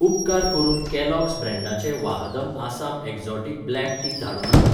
उपकार करून कॅलॉग्स ब्रँडाचें Vahdam Assam exotic black tea धाडूं नाका.